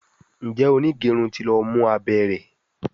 Njé onigerun tí ló mú abé rẹ?